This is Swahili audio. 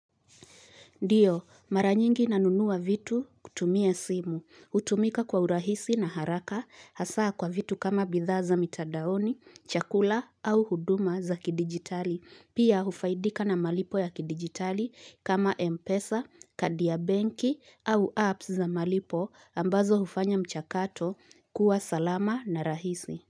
Ndiyo, maranyingi nanunua vitu kutumia simu, hutumika kwa urahisi na haraka, hasaa kwa vitu kama bidhaa za mitadaoni, chakula au huduma za kidigitali, pia hufaidika na malipo ya kidigitali kama Mpesa, kadi ya banki au apps za malipo ambazo hufanya mchakato kuwa salama na rahisi.